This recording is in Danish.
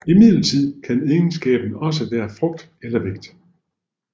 Imidlertid kan egenskaben også være frugt eller vægt